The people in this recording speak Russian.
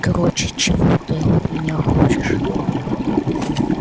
короче чего ты от меня хочешь